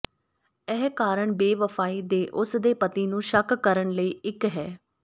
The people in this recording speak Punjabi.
ਇਹ ਕਾਰਨ ਬੇਵਫ਼ਾਈ ਦੇ ਉਸ ਦੇ ਪਤੀ ਨੂੰ ਸ਼ੱਕ ਕਰਨ ਲਈ ਇੱਕ ਹੈ